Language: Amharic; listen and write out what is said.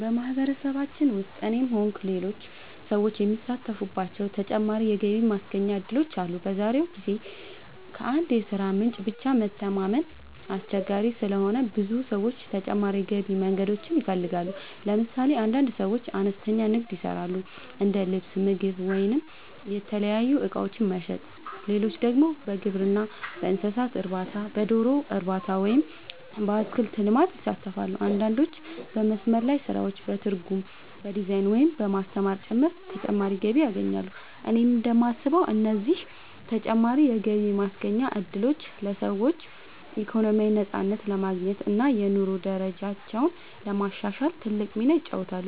በማህበረሰባችን ውስጥ እኔም ሆንኩ ሌሎች ሰዎች የሚሳተፉባቸው ተጨማሪ የገቢ ማስገኛ እድሎች አሉ። በዛሬው ጊዜ ከአንድ የሥራ ምንጭ ብቻ መተማመን አስቸጋሪ ስለሆነ ብዙ ሰዎች ተጨማሪ የገቢ መንገዶችን ይፈልጋሉ። ለምሳሌ አንዳንድ ሰዎች አነስተኛ ንግድ ይሰራሉ፤ እንደ ልብስ፣ ምግብ ወይም የተለያዩ እቃዎች መሸጥ። ሌሎች ደግሞ በግብርና፣ በእንስሳት እርባታ፣ በዶሮ እርባታ ወይም በአትክልት ልማት ይሳተፋሉ። አንዳንዶች በመስመር ላይ ስራዎች፣ በትርጉም፣ በዲዛይን፣ ወይም በማስተማር ጭምር ተጨማሪ ገቢ ያገኛሉ። እኔ እንደማስበው እነዚህ ተጨማሪ የገቢ ማስገኛ እድሎች ለሰዎች ኢኮኖሚያዊ ነፃነት ለማግኘት እና የኑሮ ደረጃቸውን ለማሻሻል ትልቅ ሚና ይጫወታሉ።